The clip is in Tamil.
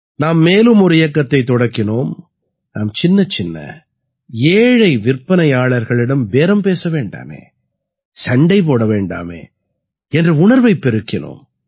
நாம் மேலும் ஒரு இயக்கத்தைத் தொடக்கினோம் நாம் சின்னச்சின்ன ஏழை விற்பனையாளர்களிடம் பேரம் பேச வேண்டாமே சண்டை போட வேண்டாமே என்ற உணர்வைப் பெருக்கினோம்